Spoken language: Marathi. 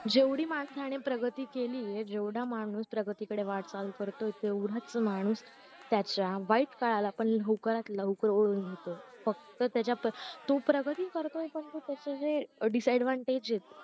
जेवढी माणसाने प्रगती केली जेवढा माणूस परागीकडे वाटचाल करतो तेवढाच माणूस त्याच्या वाईट काळा पण लवकरात लवकर ओढून घेतोय फक्त त्याच्यातच तो प्रगती करतो पण त्याचे जे disadvantage